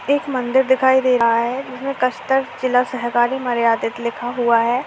एक मंदिर दिखाई दे रहा है उसमे जिला सहकारी मर्यादित लिखा हुआ है।